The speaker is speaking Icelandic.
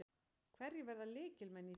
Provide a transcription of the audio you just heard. Hverjir verða lykilmenn í þínu liði?